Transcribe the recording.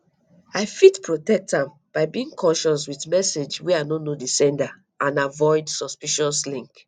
i fit protect am by being cautious with messages wey i no know di sender and avoid suspicious links